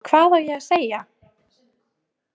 Hvað á ég að segja?